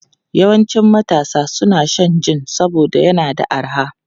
Yawancin matasa suna shan jin saboda yana da arha.